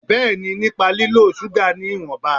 Bẹ́ẹ̀ni, nípa lílo ṣúgà ní ìwọ̀nba